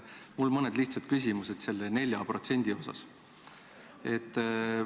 Mul on mõned lihtsad küsimused selle 4% kohta.